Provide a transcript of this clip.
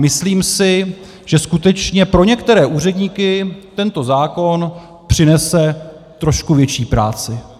Myslím si, že skutečně pro některé úředníky tento zákon přinese trošku větší práci.